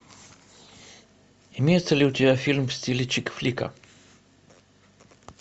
имеется ли у тебя фильм в стиле чикфлика